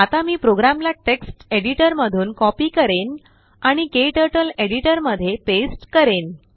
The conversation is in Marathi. आता मी प्रोग्रामला टेक्स्ट एडिटरमधून कॉपी करेन आणिKTurtleएडिटरमध्ये पेस्ट करेन